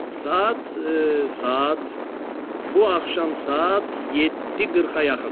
Saat... bu axşam saat 7:40-a yaxın.